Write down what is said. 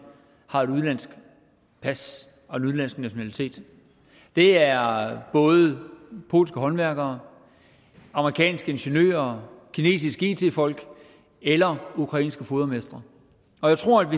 har et udenlandsk pas og en udenlandsk nationalitet det er både polske håndværkere amerikanske ingeniører kinesiske it folk eller ukrainske fodermestre og jeg tror at